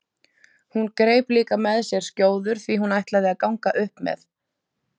Hún greip líka með sér skjóður því hún ætlaði að ganga upp með